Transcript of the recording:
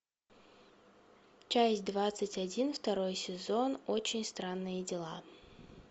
часть двадцать один второй сезон очень странные дела